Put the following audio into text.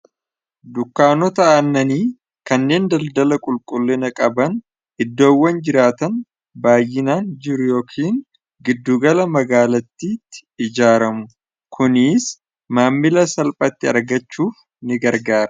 Dunkkaanota aannanii kanneen daldala qulqullina qaban iddoowwan jiraatan baayyinaan jiru yookiin giddugala magaalattiitti ijaaramu, kunis maammila salphaatti argachuuf ni gargaara.